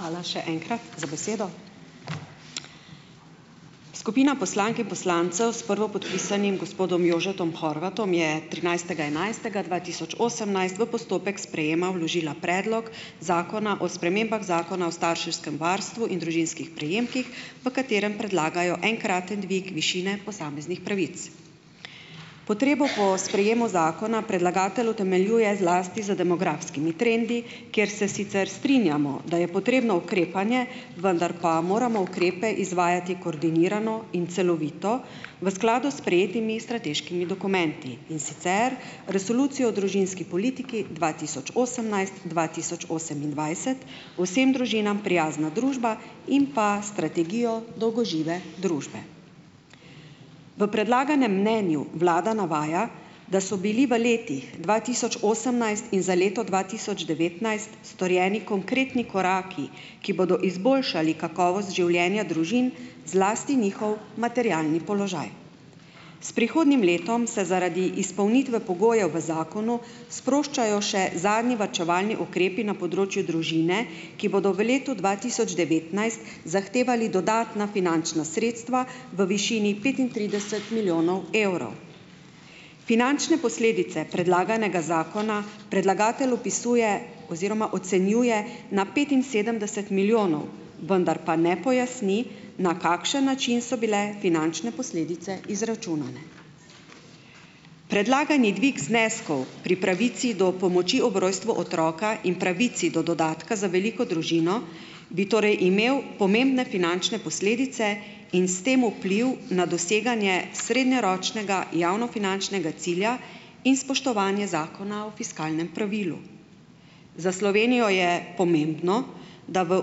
Hvala še enkrat za besedo. Skupina poslank in poslancev s prvopodpisanim gospodom Jožetom Horvatom je trinajstega enajstega dva tisoč osemnajst v postopek sprejema vložila predlog Zakona o spremembah Zakona o starševskem varstvu in družinskih prejemkih, v katerem predlagajo enkraten dvig višine posameznih pravic. Potrebo po sprejemu zakona predlagatelj utemeljuje zlasti z demografskimi trendi, kjer se sicer strinjamo, da je potrebno ukrepanje, vendar pa moramo ukrepe izvajati koordinirano in celovito, v skladu s sprejetimi strateškimi dokumenti, in sicer Resolucijo o družinski politiki dva tisoč osemnajst- dva tisoč osemindvajset, Vsem družinam prijazna družba in pa strategijo dolgožive družbe. V predlaganem mnenju vlada navaja, da so bili v letih dva tisoč osemnajst in za leto dva tisoč devetnajst, storjeni konkretni koraki, ki bodo izboljšali kakovost življenja družin, zlasti njihov materialni položaj. S prihodnjim letom se zaradi izpolnitve pogojev v zakonu sproščajo še zadnji varčevalni ukrepi na področju družine, ki bodo v letu dva tisoč devetnajst zahtevali dodatna finančna sredstva v višini petintrideset milijonov evrov. Finančne posledice predlaganega zakona predlagatelj opisuje oziroma ocenjuje na petinsedemdeset milijonov, vendar pa ne pojasni, na kakšen način so bile finančne posledice izračunane. Predlagani dvig zneskov pri pravici do pomoči ob rojstvu otroka in pravici do dodatka za veliko družino, bi torej imel pomembne finančne posledice in s tem vpliv na doseganje srednjeročnega javnofinančnega cilja in spoštovanja Zakona o fiskalnem pravilu. Za Slovenijo je pomembno, da v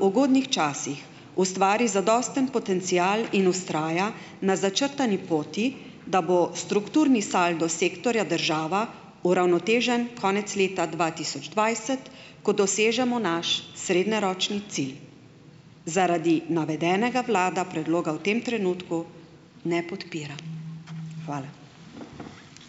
ugodnih časih ustvari zadosten potencial in vztraja na začrtani poti, da bo strukturni saldo Sektorja država uravnotežen konec leta dva tisoč dvajset, ko dosežemo naš srednjeročni cilj. Zaradi navedenega vlada predloga v tem trenutku ne podpira. Hvala.